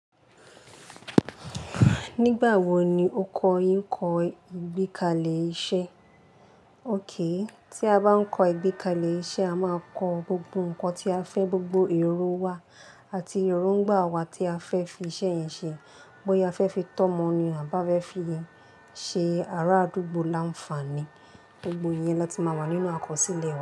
Nígbà wo ni o kọ́ ìkọ́ ìgbékalẹ̀ iṣẹ́? Ókay tí a bá ń kọ ìgbékalẹ̀ iṣẹ́, a máa kọ gbogbo ǹkan tí a fẹ́, gbogbo èrò wa àti erongba wa tí a fẹ́ fi iṣẹ́ yẹn ṣe. Bóyá a fẹ́ fi tọ́mọ ni à bá fẹ́ fi ṣe ara àdúgbò láǹfààní. Gbogbo ìyẹn la ti máa wà nínú àkọsílẹ̀ wa.